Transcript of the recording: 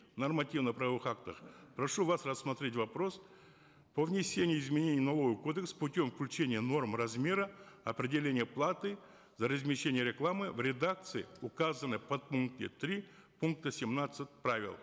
в нормативно правовых актах прошу вас рассмотреть вопрос по внесению изменений в налоговый кодекс путем включения норм размера определения платы за размещение рекламы в редакции указанной в подпункте три пункта семнадцать правил